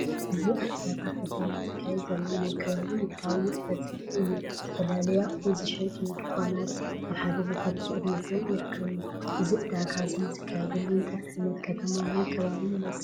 እዚ ኣብ ዕዳጋ ከተማ ዝካየድ ዘሎ ናይ ከባቢ ንግዳዊ ንጥፈት ዘርኢ እዩ። ዝተፈላለዩ ኣቑሑት ዝሸጡ ድኳናት ኣብ ሓደ ቦታ ተጠርኒፎም ይርከቡ። እዚ ዕዳጋ እዚ ዝኻየደሉ እንታይ ዓይነት ከተማ ወይ ከባቢ ይመስል?